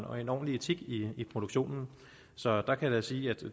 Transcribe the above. og en ordentlig etik i produktionen så jeg kan da sige at